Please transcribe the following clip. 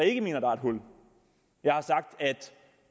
ikke mener der er et hul jeg har sagt at